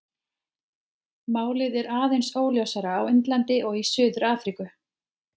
Málið er aðeins óljósara á Indlandi og í Suður-Afríku.